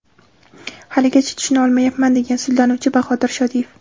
Haligacha tushuna olmayapman”, degan sudlanuvchi Bahodir Shodiyev.